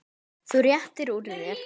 Þú réttir úr þér.